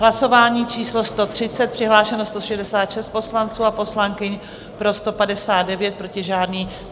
Hlasování číslo 130, přihlášeno 166 poslanců a poslankyň, pro 159, proti žádný.